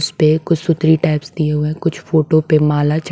पे कुछ सूत्री टाइप्स दिए हुए हैं कुछ फोटो पे मालच--